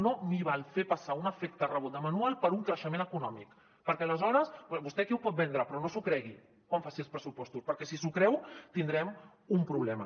no m’hi val fer passar un efecte rebot de manual per un creixement econòmic perquè aleshores vostè aquí ho pot vendre però no s’ho cregui quan faci els pressupostos perquè si s’ho creu tindrem un problema